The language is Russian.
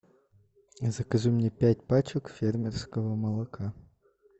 закажи мне пять пачек фермерского молока